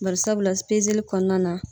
Barisabula pezeli kɔnɔna na